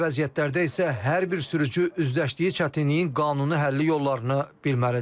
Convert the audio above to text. Belə vəziyyətlərdə isə hər bir sürücü üzləşdiyi çətinliyin qanuni həlli yollarını bilməlidir.